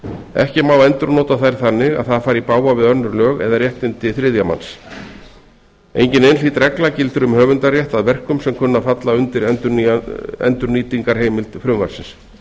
ekki má endurnota þær þannig að það fari í bága við önnur lög eða réttindi þriðja manns engin einhlít regla gildir um höfundarétt að verkum sem kunna að falla undir endurnýtingarheimild frumvarpsins